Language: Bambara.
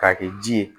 K'a kɛ ji ye